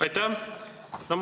Aitäh!